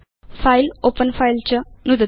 file open file च नुदतु